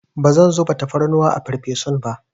Bazan zuba tafarnuwa a farfesun ba.